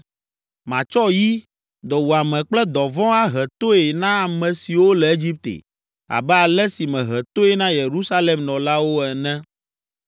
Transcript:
Matsɔ yi, dɔwuame kple dɔvɔ̃ ahe toe na ame siwo le Egipte abe ale si mehe toe na Yerusalem nɔlawo ene.